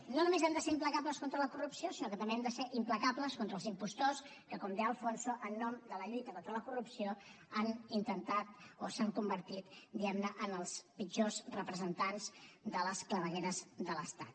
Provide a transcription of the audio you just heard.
no només hem de ser implacables contra la corrupció sinó que també hem de ser implacables contra els impostors que com de alfonso en nom de la lluita contra la corrupció han intentat o s’han convertit diguem ne en els pitjors representants de les clavegueres de l’estat